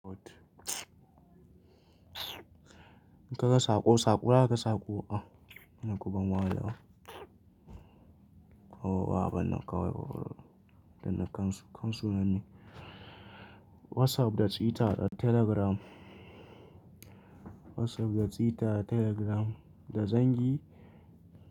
In ka ga saƙo, saƙura ka saƙo. Ah, ina guban waya. O ba, ban nan kawai ba. Dana kansu, kansu nan ne. WhatsApp da Twitter da Telegram. WhatsApp da Twitter, Telegram da zangi.